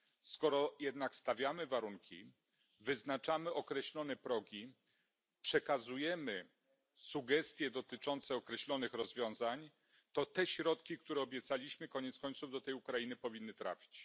Skoro jednak stawiamy warunki, wyznaczamy określone progi, przekazujemy sugestie dotyczące określonych rozwiązań, to te środki, które obiecaliśmy, koniec końców do tej Ukrainy powinny trafić.